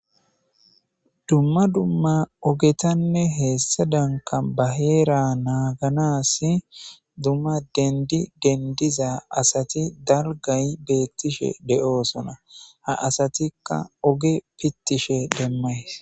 dumma dumma ogetanne heessa danka baheera naaganasi dumma dendi dendiza asati dargay beettishe de'aoosona ha asatikka oge pittishe demmays